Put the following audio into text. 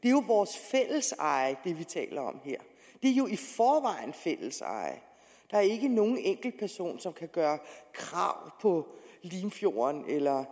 er jo vores fælleseje det er jo i forvejen fælleseje der er ikke nogen enkeltperson som kan gøre krav på limfjorden eller